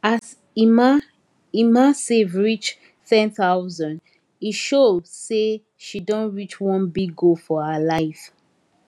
as emma emma save reach 10000 e show say she don reach one big goal for her life